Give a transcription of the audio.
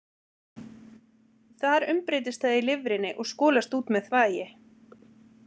Þar umbreytist það í lifrinni og skolast út með þvagi.